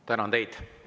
Tänan teid!